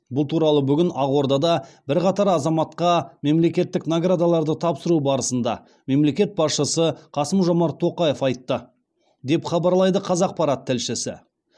бұл туралы бүгін ақордада бірқатар азаматқа мемлекеттік наградаларды тапсыру барысында мемлекет басшысы қасым жомарт тоқаев айтты деп хабарлайды қазақпарат тілшісі